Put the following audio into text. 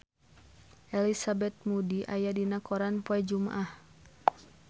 Elizabeth Moody aya dina koran poe Jumaah